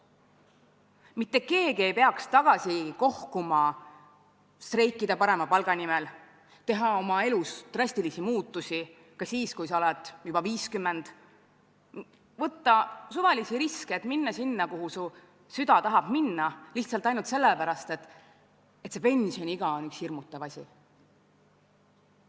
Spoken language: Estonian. Mitte keegi ei peaks tagasi kohkuma selle ees, et streikida parema palga nimel, teha oma elus drastilisi muudatusi ka siis, kui ollakse juba 50, võtta suvalisi riske, et minna sinna, kuhu süda tahab minna, ei peaks tagasi kohkuma lihtsalt sellepärast, et see pensioniiga on üks hirmutav asi.